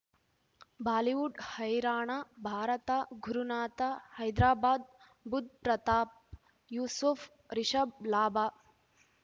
Bollywood ಹೈರಾಣ ಭಾರತ ಗುರುನಾಥ ಹೈದರಾಬಾದ್ ಬುಧ್ ಪ್ರತಾಪ್ ಯೂಸುಫ್ ರಿಷಬ್ ಲಾಭ